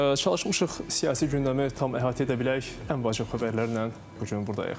Çalışmışıq siyasi gündəmi tam əhatə edə bilək ən vacib xəbərlərlə bu gün burdayıq.